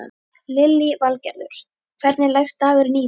Lillý Valgerður: Hvernig leggst dagurinn í þig?